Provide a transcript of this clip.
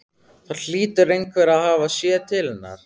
Það hlýtur einhver að hafa séð til hennar.